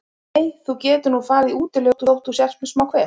Nei, þú getur nú farið í útilegu þótt þú sért með smá kvef.